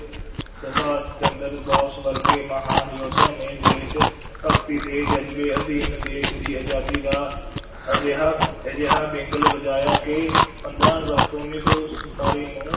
ਸੁਬਾਸ਼ ਚੰਦਰ ਬੋਸ ਵਰਗੇ ਮਹਾਨ ਯੋਧਿਆਂ ਨੇ ਦੇਸ਼ ਭਗਤੀ ਦੇ ਜ਼ਜ਼ਬੇ ਅਧੀਨ ਦੇਸ਼ ਦੀ ਆਜ਼ਾਦੀ ਦਾ ਅਜਿਹਾ ਅਜਿਹਾ ਵਿਗਲ ਵਜਾਇਆ ਕਿ ਪੰਦਰਾਂ ਅਗਸਤ ਉੱਨੀ ਸੌ ਸੰਤਾਲੀ ਨੂੰ